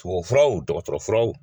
Tugabufura o dɔgɔtɔrɔfura o